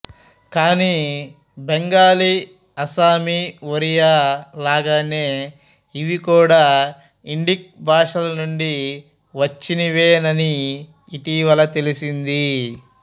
కానీ బెంగాలీ అస్సామీ ఒరియా లాగానే ఇవి కూడా ఇండిక్ భాషల నుండి వచ్చినవేనని ఇటీవల తెలిసింది